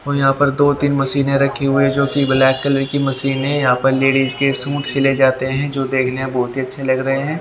और यहां पर दो तीन मशीनें रखी हुए जो कि ब्लैक कलर की मशीन है यहां पर लेडीज के सूट सिले जाते हैं जो देखने में बहुत ही अच्छे लग रहे हैं।